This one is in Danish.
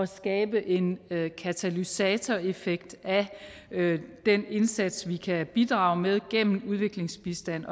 skabe en katalysatoreffekt af den indsats vi kan bidrage med gennem udviklingsbistand